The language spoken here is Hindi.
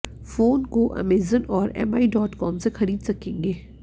फोन को अमेजन और एमआई डॉट कॉम से खरीद सकेंगे